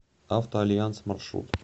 авто альянс маршрут